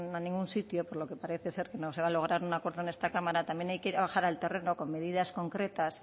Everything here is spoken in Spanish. a ningún sitio porque parece ser que no se va a lograr un acuerdo en esta cámara también hay que bajar al terreno con medidas concretas